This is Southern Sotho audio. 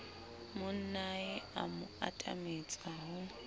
monnae a mo atametsa ho